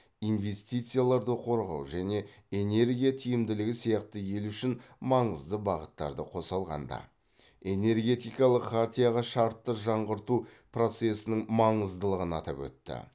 инвестицияларды қорғау және энергия тиімділігі сияқты ел үшін маңызды бағыттарды қоса алғанда энергетикалық хартияға шартты жаңғырту процесінің маңыздылығын атап өтті